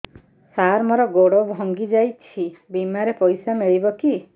ସାର ମର ଗୋଡ ଭଙ୍ଗି ଯାଇ ଛି ବିମାରେ ପଇସା ମିଳିବ କି